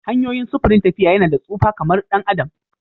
Hanyoyin sufurin tafiya yana da tsufa kamar ɗan adam